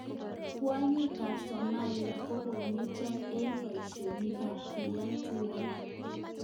Kwanyik ap somalia ko kongetia eng paishonik ap kiyang tuwank